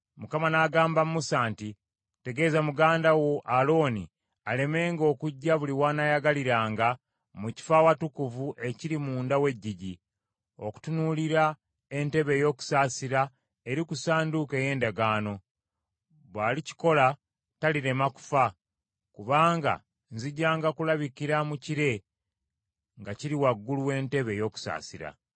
Mukama n’agamba Musa nti, “Tegeeza muganda wo Alooni alemenga okujja buli w’anaayagaliranga, mu kifo Awatukuvu ekiri munda w’eggigi, okutunuulira entebe ey’okusaasira eri ku Ssanduuko ey’Endagaano; bw’alikikola talirema kufa; kubanga nzijanga kulabikira mu kire nga kiri waggulu w’entebe ey’okusaasira.